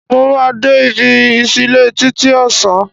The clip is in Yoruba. Mo máa de ibi ìsílẹ́ títí ọ̀sán